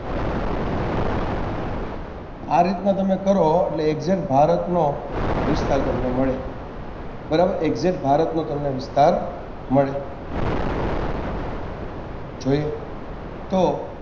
આ રીતના તમે કરો એટલે exact ભારતનો વિસ્તાર તમને મળે બરાબ exact ભારતનો તમને વિસ્તાર મળ જોઈએ તો